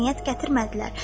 Mədəniyyət gətirmədilər.